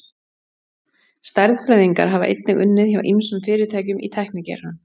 Stærðfræðingar hafa einnig unnið hjá ýmsum fyrirtækjum í tæknigeiranum.